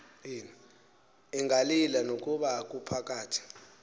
ingalila nokuba kuphakathi